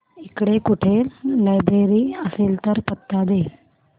इकडे कुठे लायब्रेरी असेल तर पत्ता दे